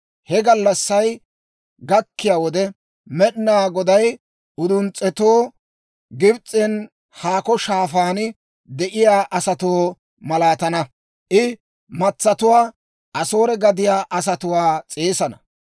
He gallassay gakkiyaa wode, Med'inaa Goday uduns's'etoo, Gibs'en haakko shaafaan de'iyaa asatoo malaatana; I matsatuwaa, Asoore gadiyaa asatuwaa s'eesana.